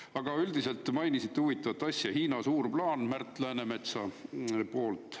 " Aga üldiselt, mainisite huvitavat asja, "Hiina "Suur plaan" " Märt Läänemetsa sulest.